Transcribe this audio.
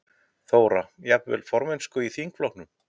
Þóra: Jafnvel formennsku í þingflokknum?